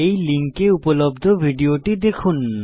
এই লিঙ্কে উপলব্ধ ভিডিওটি দেখুন